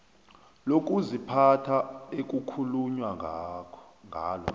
lokuziphatha ekukhulunywa ngalo